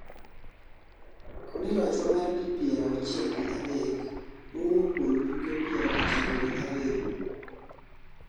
koni lochwa mar di pier auchiel gi adek mowuok kuom tuke pier ochiko gi ariyo